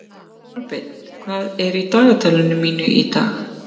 Kolbeinn, hvað er í dagatalinu mínu í dag?